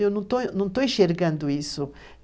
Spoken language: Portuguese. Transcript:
Eu não estou enxergando isso.